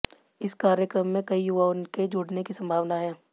इस कार्यक्रम में कई युवाआें के जुड़ने की संभावना है